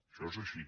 això és així